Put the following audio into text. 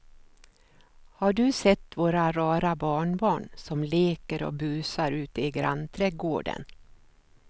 Har du sett våra rara barnbarn som leker och busar ute i grannträdgården!